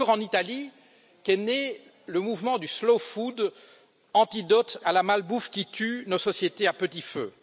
C'est encore en Italie qu'est né le mouvement du slow food, antidote à la malbouffe qui tue nos sociétés à petit feu.